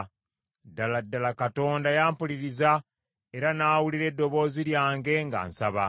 ddala ddala Katonda yampuliriza era n’awulira eddoboozi lyange nga nsaba.